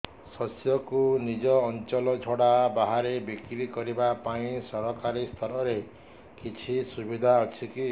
ଶସ୍ୟକୁ ନିଜ ଅଞ୍ଚଳ ଛଡା ବାହାରେ ବିକ୍ରି କରିବା ପାଇଁ ସରକାରୀ ସ୍ତରରେ କିଛି ସୁବିଧା ଅଛି କି